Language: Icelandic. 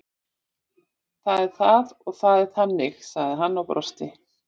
Það er það og það er þannig sagði hann og brosti.